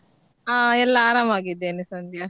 ಹಾ ಎಲ್ಲ ಆರಾಮಾಗಿದ್ದೇನೆ ಸಂಧ್ಯಾ.